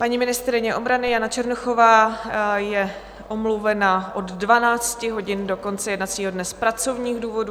Paní ministryně obrany Jana Černochová je omluvena od 12 hodin do konce jednacího dne z pracovních důvodů.